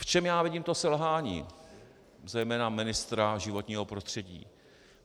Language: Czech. V čem já vidím to selhání zejména ministra životního prostředí?